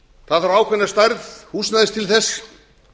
það þarf ákveðna stærð húsnæði til þess